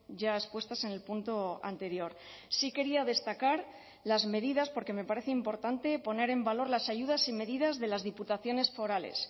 ya expuestas en el punto anterior sí quería destacar las medidas porque me parece importante poner en valor las ayudas y medidas de las diputaciones forales